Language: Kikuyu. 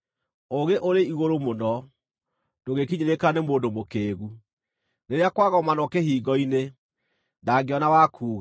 Ũũgĩ ũrĩ igũrũ mũno, ndũngĩkinyĩrĩka nĩ mũndũ mũkĩĩgu; rĩrĩa kwagomanwo kĩhingo-inĩ, ndangĩona wa kuuga.